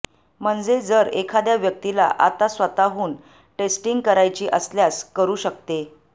म्हणजे जर एखाद्या व्यक्तीला आता स्वतःहून टेस्टिंग करायची असल्यास करू शकते